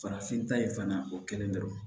Farafin ta ye fana o kɛlen dɔrɔn